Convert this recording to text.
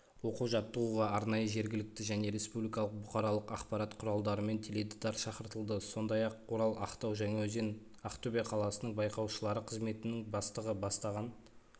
оқу жаттығуға арнайы жергілікті және республикалық бұқаралық ақпарат құралдарымен теледидар шақыртылды сондай-ақ орал ақтау жаңаөзен ақтөбе қаласының байқаушылары қызметінің бастығы бастаған